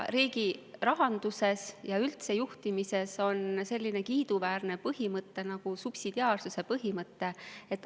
Riigi rahanduses ja üldse juhtimises on selline kiiduväärne põhimõte nagu subsidiaarsuse põhimõte.